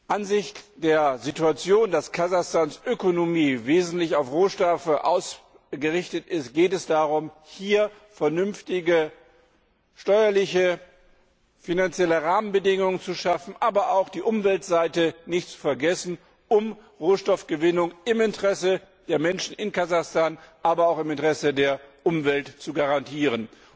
Angesichts der Situation, dass Kasachstans Ökonomie wesentlich auf Rohstoffe ausgerichtet ist, geht es darum, hier vernünftige steuerliche und finanzielle Rahmenbedingungen zu schaffen, aber auch die Umweltseite nicht zu vergessen, um eine Rohstoffgewinnung im Interesse der Menschen in Kasachstan, aber auch im Interesse der Umwelt zu garantieren.